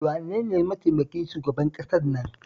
Wane ne mataimakin shugaban ƙasar nan?